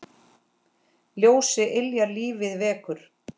Ljósið yljar lífið vekur.